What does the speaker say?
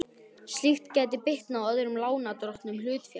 Slíkt gæti bitnað á öðrum lánardrottnum hlutafélags.